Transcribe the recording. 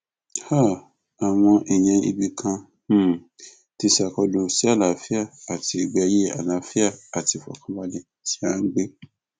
um àwọn èèyàn ibì kan um ti ṣàkólú sí àlàáfíà àti ìgbé ayé àlàáfíà àti ìfọkànbalẹ tí à ń gbé